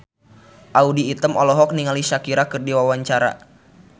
Audy Item olohok ningali Shakira keur diwawancara